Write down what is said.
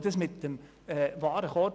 Dies zeigt der Warenkorb.